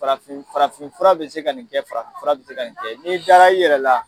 Farafin farafinfura bɛ se ka nin kɛ farafinfura bɛ se ka nin kɛ. N'i dara i yɛrɛ la